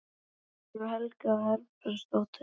Guðný Helga Herbertsdóttir: Landsbankann þá?